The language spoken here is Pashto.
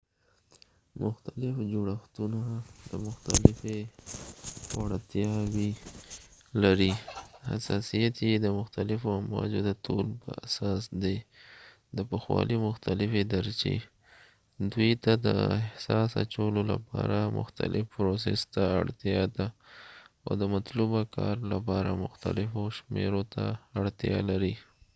مختلف جوړښتونه مختلفی وړتیاوي لري .حساسیت یې د مختلفو امواجو د طول په اساس دي د پخوالی مختلفی درچې، دوي ته د احساس اچولو لپاره مختلف پروسس ته اړتیا ده او د مطلوبه کار لپاره محتلفو شمیرو ته اړتیا لر ی